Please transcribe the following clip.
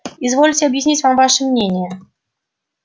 извольте объяснить нам ваше мнение